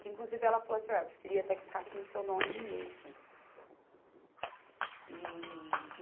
Que inclusive ela falou assim, ó, eu preferia até que ficasse no seu nome mesmo. E